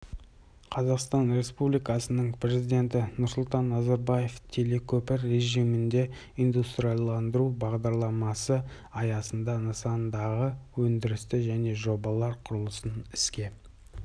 қазақстан республикасының президенті нұрсұлтан назарбаев телекөпір режімінде индустрияландыру бағдарламасы аясында нысандардағы өндірісті және жобалар құрылысын іске